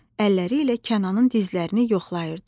Əlləri ilə Kənanın dizlərini yoxlayırdı.